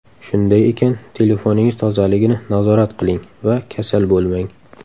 Shunday ekan, telefoningiz tozaligini nazorat qiling va kasal bo‘lmang!